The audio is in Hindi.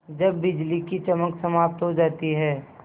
जब बिजली की चमक समाप्त हो जाती है